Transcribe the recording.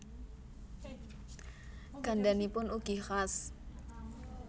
Gandhanipun ugi khas